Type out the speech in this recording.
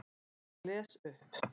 Og les upp.